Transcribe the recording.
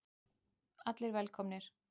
Allir velkomnir.